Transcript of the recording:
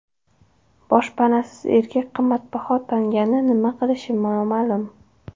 Boshpanasiz erkak qimmatbaho tangani nima qilishi noma’lum.